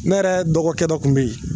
Ne yɛrɛ dɔgɔkɛ dɔ tun bɛ yen